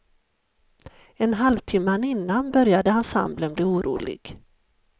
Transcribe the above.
En halvtimma innan började ensemblen bli orolig.